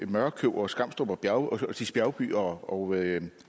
mørkøv og skamstrup og stigs bjergby og